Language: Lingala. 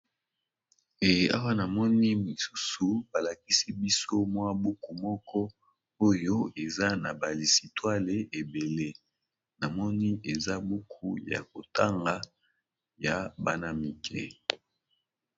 Awa namoni lisusu balakisi biso mwa buku moko oye eza naba lisituale ébélé